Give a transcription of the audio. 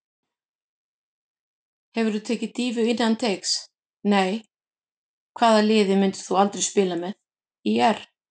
Hefurðu tekið dýfu innan teigs: Nei Hvaða liði myndir þú aldrei spila með: ÍR